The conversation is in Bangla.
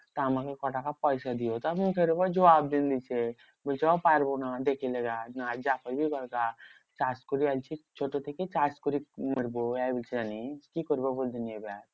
তো আমাকে ক টাকা পয়সা দিও মুখের উপর জবাব দিল দিচ্ছে। বলছে ও আমি পারবো না দেখে লে গা। যা করবি কর গা কাজ করে আসছিস ছোট থেকে কাজ করেই মরবো, এর বেশি নেই। কি করবো বল দিগিনি এবার?